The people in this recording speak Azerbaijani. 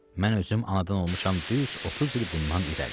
Mən özüm anadan olmuşam düz 30 il bundan irəli.